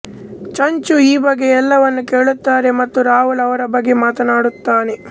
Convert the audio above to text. ಚಂಚು ಈ ಬಗ್ಗೆ ಎಲ್ಲವನ್ನೂ ಕೇಳುತ್ತಾರೆ ಮತ್ತು ರಾಹುಲ್ ಅವರ ಬಗ್ಗೆ ಮಾತಾಡುತ್ತಾನೆ